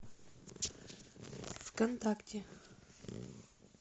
вконтакте